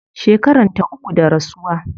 Shekaranta uku da rasuwa